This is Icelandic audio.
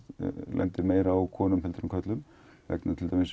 lendir meira á konum en körlum vegna til dæmis